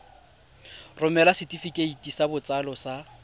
romela setefikeiti sa botsalo sa